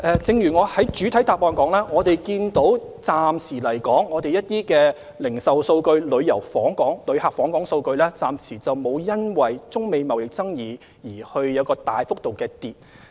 正如我在主體答覆中指出，我們看過一些零售數據及旅客訪港數據，暫時沒有因為中美貿易爭議而有大幅度下降。